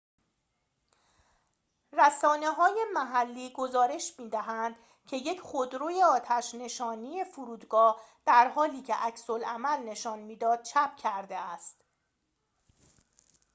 رسانه‌های محلی گزارش می‌دهند که یک خودروی آتش نشانی فرودگاه در حالی که عکس‌العمل نشان می‌داد چپ کرده است